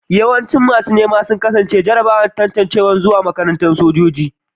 Yawancin masu nema sun kasa cin jarrabawar tantancewa zuwa makarantar sojoji